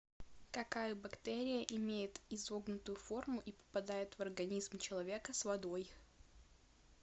какая бактерия имеет изогнутую форму и попадает в организм человека с водой